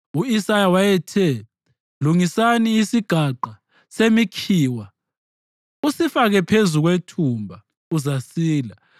U-Isaya wayethe, “Lungisani isigaqa semikhiwa usifake phezu kwethumba, uzasila.”